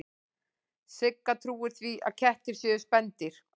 Sigga trúir því að kettir séu spendýr.